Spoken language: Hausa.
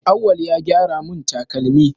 Auwal ya gyara mun takalmi